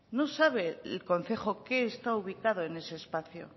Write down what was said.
no sabe el concejo qué está ubicado en ese espacio